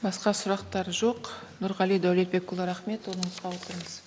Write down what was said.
басқа сұрақтар жоқ нұрғали дәулетбекұлы рахмет орныңызға отырыңыз